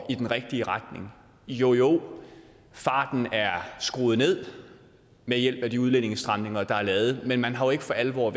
i den rigtige retning jo jo farten er skruet ned ved hjælp af de udlændingestramninger der er lavet men man har ikke for alvor